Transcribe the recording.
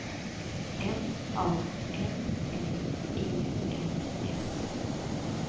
M A N N E N S